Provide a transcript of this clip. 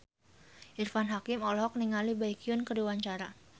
Irfan Hakim olohok ningali Baekhyun keur diwawancara